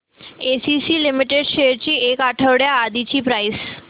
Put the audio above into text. ACC limited shares ची एक आठवड्या आधीची प्राइस